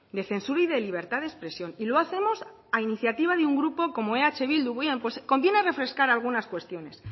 de censura y de libertad de expresión y lo hacemos a iniciativa de un grupo como eh bildu bien pues conviene refrescar algunas cuestiones